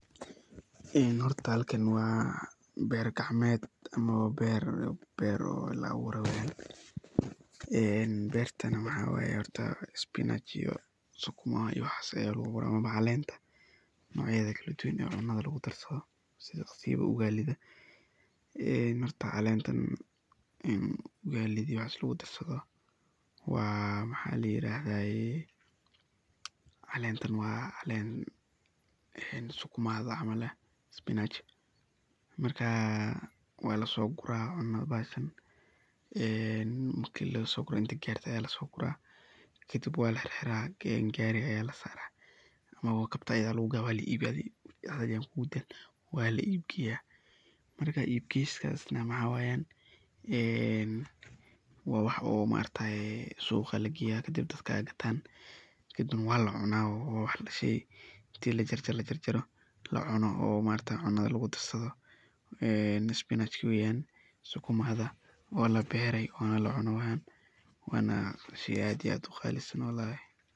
Hoorta halkan wa beer kacmeet oo beer la abuuray ee beerta waxaywaye hoorta/ Spanach Sukima iyo waxaas Aya lagu beeray ee muhim utahaya ugali lagu darsadih ee hoorta calantan wa lagu darsadoh, wa maxa layeeradah calantan wa caleen ee Sukima [caml spinach marka Wala so guurah ee marki lasoguuroh kadib walaxeerxeerah gaari Aya la saarah oo kabtaas Aya lagu gathah adii Wala ibinah, Wala ibgeeyah, marka ibgeeyaoh maxawayan ee wa wax sooqa lageeyah marga gathan Wala cuunah oo inti lajarjaroh lacunoh oo maargtahay cuna lagu darsadoh ee spinach oo Sukima mathaw ee labeeroh, Wana la cuunay Wana sheey aad iyo aad u Qalisan waye.